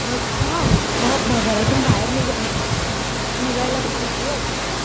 म हा मग घरातून बाहेर निघा निघायलापण भीती वाटते.